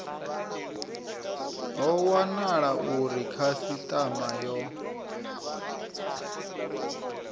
ho wanala uri khasitama yo